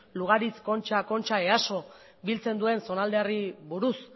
lugaritz kontxa kontxa easo biltzen duen zonaldeari buruz